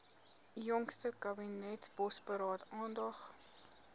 jongste kabinetsbosberaad aandag